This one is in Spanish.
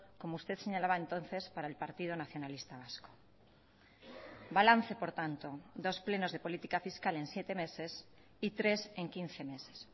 como usted señalaba entonces para el partido nacionalista vasco balance por tanto dos plenos de política fiscal en siete meses y tres en quince meses